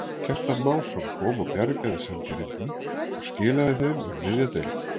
Kjartan Másson kom og bjargaði Sandgerðingum og skilaðu þeim um miðja deild.